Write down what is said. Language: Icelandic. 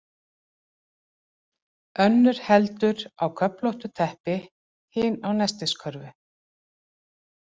Önnur heldur á köflóttu teppi, hin á nestiskörfu.